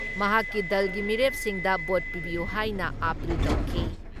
ꯃꯍꯥꯛꯀꯤ ꯗꯜꯒꯤ ꯃꯤꯔꯦꯞꯁꯤꯡꯗ ꯚꯣꯠ ꯄꯤꯕꯤꯌꯨ ꯍꯥꯏꯅ ꯑꯥꯄꯤꯜ ꯇꯧꯈꯤ ꯫